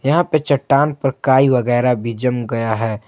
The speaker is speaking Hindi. यहां पर चट्टान पर काई वगैरा भी जम गया है।